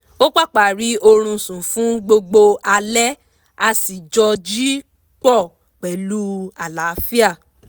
ó pápá rí oorun sùn fún gbogbo alẹ́ a sì jọ jí pọ̀ pẹ̀lú àlàáfíà